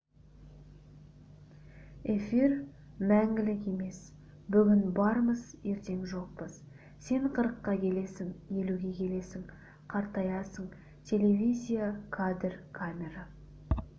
эфир мәңгілік емес бүгін бармыз ертең жоқпыз сен қырыққа келесің елуге келесің қартаясың телевизия кадр камера